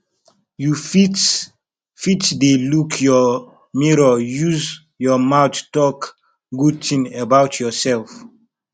you fit fit dey look your mirror use your mouth talk good things about yourself